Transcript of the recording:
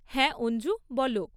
হ্যাঁ অঞ্জু! বলো।